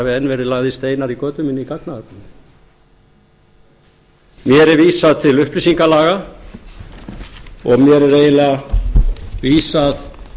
hafi enn verið lagðir steinar í götu mína í gagnaöflun mér er vísað til upplýsingalaga og mér er eiginlega vísað